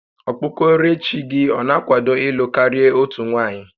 Okpukoerechi gị ọ na-akwado ịlụ karị otu nwanyị?